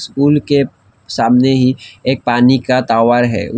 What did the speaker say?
School के सामने ही एक पानी का टॉवर है।